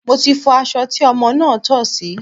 Mo ti fọ aṣọ tí ọmọ náà tọ̀ sí.